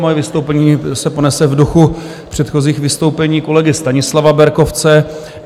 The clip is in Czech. Moje vystoupení se ponese v duchu předchozích vystoupení kolegy Stanislava Berkovce.